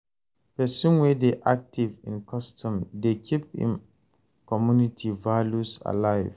Pesin wey dey aktiv in im custom dey keep im community values alive.